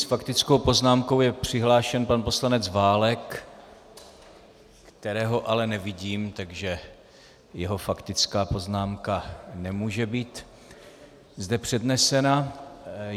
S faktickou poznámkou je přihlášen pan poslanec Válek, kterého ale nevidím, takže jeho faktická poznámka nemůže být zde přednesena.